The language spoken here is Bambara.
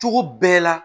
Cogo bɛɛ la